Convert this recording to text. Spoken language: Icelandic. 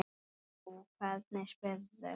Jú, hvernig spyrðu.